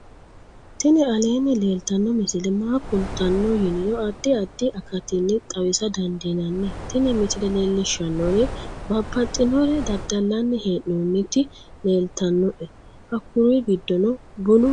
tini aleenni leeltanno misile maa kultanno yiniro addi addi akatinni xawisa dandiinnanni tin misile leellishshannori babaxinore dadallanni hee'noonniti leeltannoe hakkuri giddonni bunu waajju tumi leellannoe